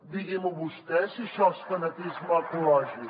digui m’ho vostè si això és fanatisme ecològic